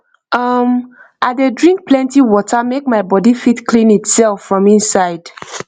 um i dey drink plenty water make my body fit clean itself from inside